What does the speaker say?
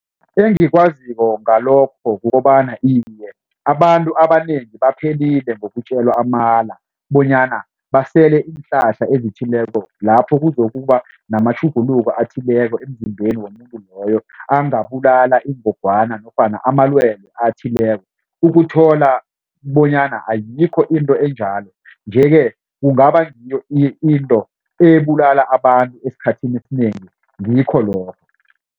Engikwaziko ngalokho kukobana iye abantu abanengi baphelile ngokutjelwa amala bonyana basele iinhlahla ezithileko lapho kuzokuba namatjhuguluko athileko emzimbeni womuntu loyo angabulala ingogwana nofana amalwelwe athileko ukuthola bonyana ayikho into enjalo. Nje-ke kungaba ngiyo into ebulala abantu esikhathini esinengi ngikho lokho.